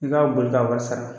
I k'a boli ka wasa ka